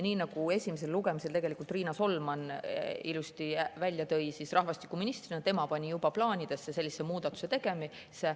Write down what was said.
Nii nagu esimesel lugemisel Riina Solman ilusti välja tõi, juba tema rahvastikuministrina plaanis sellise muudatuse tegemist.